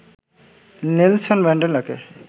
Nelson ম্যান্ডেলাকে